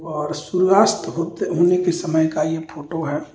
और सूर्यास्त होते होने के समय का यह फोटो है।